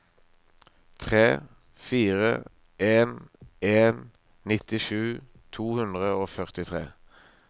tre fire en en nittisju to hundre og førtitre